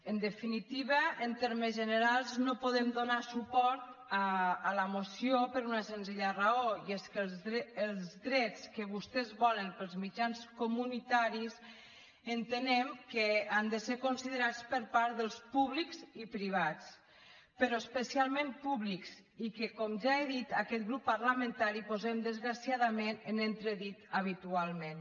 en definitiva en termes generals no podem donar suport a la moció per una senzilla raó i és que els drets que vostès volen per als mitjans comunitaris entenem que han de ser considerats per part dels públics i privats però especialment públics i que com ja he dit aquest grup parlamentari posem desgraciadament en entredit habitualment